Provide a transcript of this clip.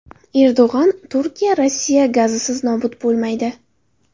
Erdo‘g‘on: Turkiya Rossiya gazisiz nobud bo‘lmaydi .